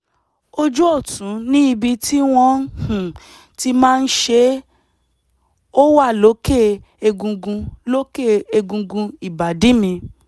ojú ọ̀tún ni ibi tí wọ́n um ti máa ṣe é ó wà lókè egungun lókè egungun ìbàdí mi